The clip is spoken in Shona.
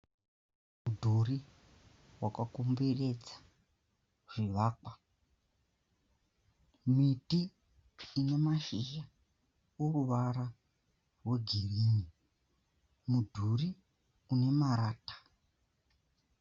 Mudhuri wakakomberedza zvivakwa, miti ine mashizha oruvara rwegirini, mudhuri une marata.